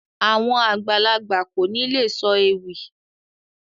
Àwọn àgbàlagbà kò ní lè sọ ewì